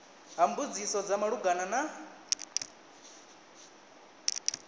ha mbudziso dza malugana na